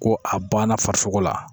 Ko a banna farisoko la